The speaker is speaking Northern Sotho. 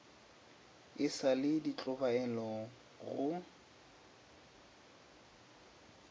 e sa le tlhobaelo go